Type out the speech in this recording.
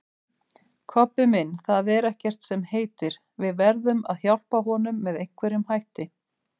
Kobbi minn, það er ekkert sem heitir, við verðum að hjálpa honum með einhverjum hætti